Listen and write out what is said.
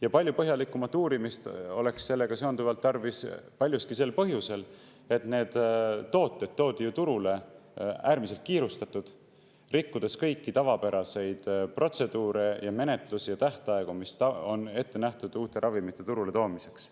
Ja palju põhjalikumat uurimist oleks sellega seonduvalt tarvis paljuski sel põhjusel, et need tooted toodi turule ju äärmiselt kiirustatult, rikkudes kõiki tavapäraseid protseduure, menetlusi ja tähtaegu, mis on ette nähtud uute ravimite turule toomiseks.